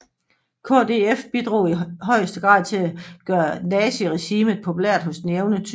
KdF bidrog i højeste grad til at gøre naziregimet populært hos den jævne tysker